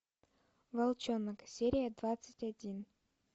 волчонок серия двадцать один